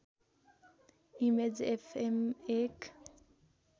image FM एक